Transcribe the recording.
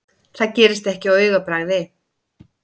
Það gerist ekki á augabragði.